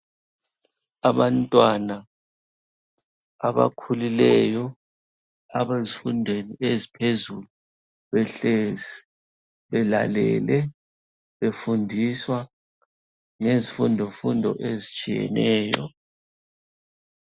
Abantwana abakhulileyo abezifundweni eziphezulu behlezi belalele, befundiswa ngezifundofundo ezitshiyeneyo.